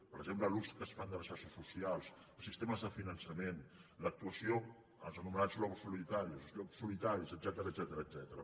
per exemple l’ús que es fa de les xarxes socials els sistemes de finançament l’actuació dels anomenats lobos solitarios els llops solitaris etcètera